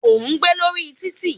O gbé lórí títì.